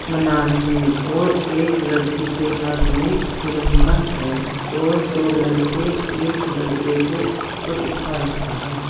मना रहे हैं और एक लड़की के हाथ में तिरंगा है और दो लड़के एक लड़के को ऊपर उठा रखा है।